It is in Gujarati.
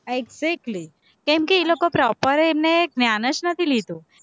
exactly કેમકે એ લોકો proper એમને જ્ઞાન જ નથી લીધું.